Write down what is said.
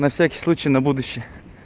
на всякий случай на будущее